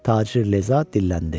Tacir Leza dilləndi.